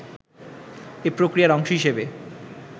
এ প্রক্রিয়ার অংশ হিসাবে